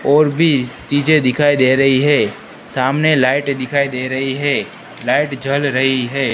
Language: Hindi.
और भी चीजें दिखाई दे रही है सामने लाइट दिखाई दे रही है लाइट जल रही है।